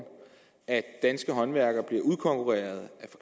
at danske håndværkere bliver udkonkurreret